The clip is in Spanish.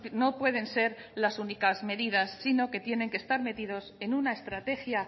no pueden ser las únicas medidas sino que tienen que estar metidos en una estrategia